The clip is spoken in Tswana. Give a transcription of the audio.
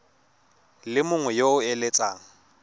le mongwe yo o eletsang